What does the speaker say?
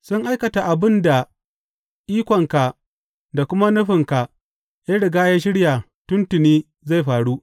Sun aikata abin da ikonka da kuma nufinka ya riga ya shirya tuntuni zai faru.